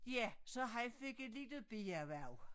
Ja så han fik et lille bierhverv